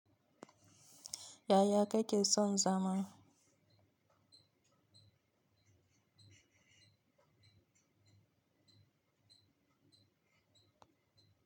Yaya ka ke son zama.